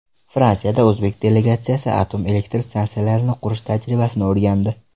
Fransiyada o‘zbek delegatsiyasi atom elektr stansiyalarini qurish tajribasini o‘rgandi.